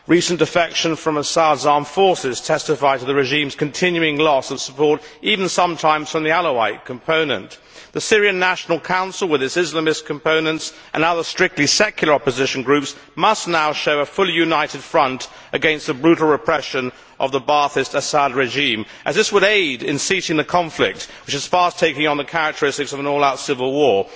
Recent defections from Assad's armed forces testify to the regime's continuing loss of support, even sometimes from the Alawite component. The Syrian National Council, with its Islamist components and other strictly secular opposition groups, must now show a fully united front against the brutal repression of the Baathist Assad regime, as this would aid in ceasing the conflict, which is fast taking on the characteristics of an all out civil war.